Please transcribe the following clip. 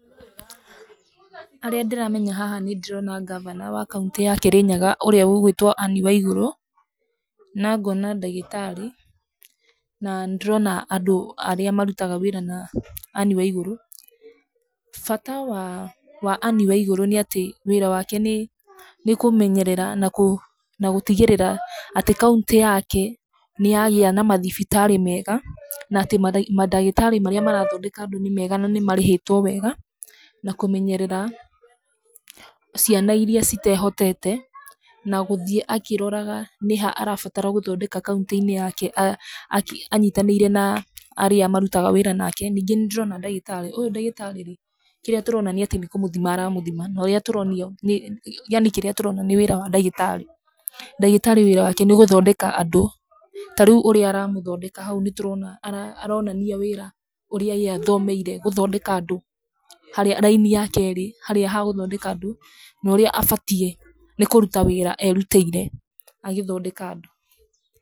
Arĩa ndĩramenya haha nĩ ndĩrona ngavana wa kaũntĩ ya Kĩrĩnyaga ũrĩa ũgwĩtwo Ann Waiguru, na ngona ndagĩtarĩ, na nĩ ndĩrona andũ arĩa marutaga wĩra na Ann Waiguru. Bata wa wa Ann Waiguru nĩ atĩ wĩra wake nĩ kũmenyerera na gũtigĩrĩra atĩ kaũntĩ yake nĩ yagĩa na mathibitarĩ mega, na atĩ mandagĩtarĩ marĩa marathondeka andũ nĩ mega na nĩ marĩhĩtwo wega. Na kũmenyerera ciana irĩa citehotete na gũthiĩ akĩroraga nĩ ha arabatara gũthondeka kaũntĩ-inĩ yake, anyitanĩire na arĩa marutaga wĩra nake. Ningĩ nĩ ndĩrona ndagĩtarĩ, ũyũ ndagĩtarĩ rĩ, kĩrĩa tũrona nĩ atĩ nĩ kũmũthima ara mũthima na ũrĩa tũronio nĩ, yani kĩrĩa tũrona nĩ wĩra wa ndagĩtarĩ. Ndagĩtarĩ wĩra wake nĩ gũthondeka andũ. Ta rĩu ũrĩa aramũthondeka hau nĩ tũrona aronania wĩra ũrĩa ye athomeire, gũthondeka andũ, harĩa raini yake ĩrĩ, harĩa ha gũthondeka andũ na ũrĩa abatiĩ nĩ kũruta wĩra erutĩire agĩthondeka andũ.